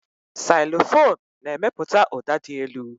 Xylofon na-emepụta ụda dị elu.